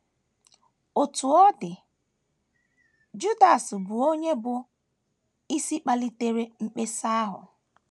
Otú ọ dị, Judas bụ onye bụ́ isi kpalitere mkpesa ahụ.